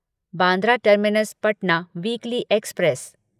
Bandra terminus Patna weekly express